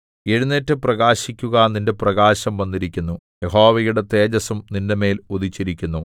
എഴുന്നേറ്റു പ്രകാശിക്കുക നിന്റെ പ്രകാശം വന്നിരിക്കുന്നു യഹോവയുടെ തേജസ്സും നിന്റെമേൽ ഉദിച്ചിരിക്കുന്നു